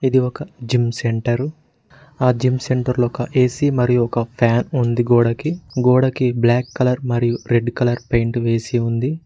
ఇది ఒక gym centre ఆ జిమ్ సెంటర్లో ఒక ఏ_సి మరియు ఒక ఫ్యాన్ ఉంది గోడకి గోడకి బ్లాక్ కలర్ మరియు రెడ్ కలర్ పెయింట్ వేసి ఉంది.